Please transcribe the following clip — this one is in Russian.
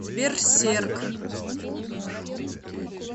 берсерк